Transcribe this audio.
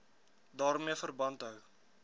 daarmee verband hou